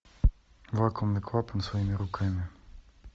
вакуумный клапан своими руками